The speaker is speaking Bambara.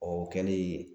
Ɔ o kɛlen